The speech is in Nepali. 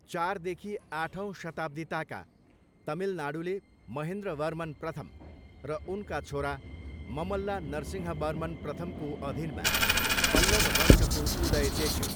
चारदेखि आठौँ शताब्दीताका तमिलनाडुले महेन्द्रवर्मन प्रथम र उनका छोरा ममल्ला नरसिंहवर्मन प्रथमको अधीनमा पल्लव वंशको उदय देख्यो।